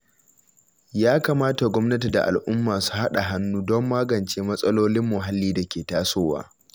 Ya kamata gwamnati da al’umma su haɗa hannu don magance matsalolin muhalli da ke tasowa.